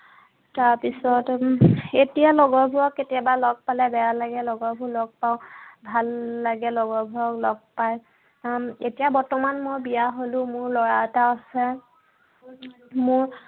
তাৰ পিছত, উম এতিয়া লগৰবোৰক কেতিয়াবা লগ পালে বেয়া লাগে। লগৰবোৰক লগ পাও, ভাল লাগে লগৰবোৰক লগ পায়। এতিয়া বৰ্তমান মই বিয়া হলো। মোৰ লৰা এটা আছে।